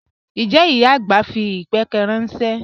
Njẹ́ ìyá agbá fí ìbẹ́pẹ̀ ranṣẹ?